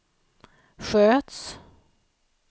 sköts